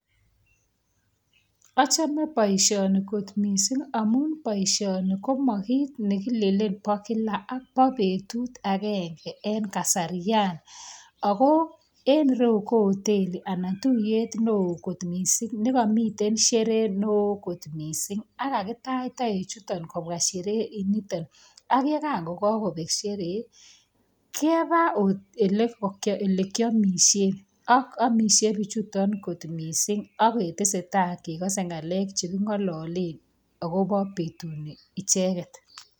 Achame boishani kot missing amuun boishani ko makit nekilen bo Kila , Ako bo betut agenge en kasarian Ako en ireu ko hotelit anan tuyet neo kot missing nemamiten sherehe neoo kot missing ako kakitach taek chaton en Sheree inoton aka yekan kokobek Sheree keba olekakiamishen , akotesetai akobo ng'alek cheki ng'alalen akobo betuni icheket